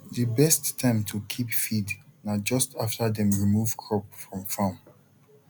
the best time to keep feed na just after dem remove crop from farm